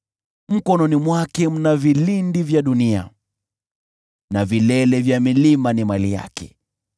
Mkononi mwake mna vilindi vya dunia, na vilele vya milima ni mali yake.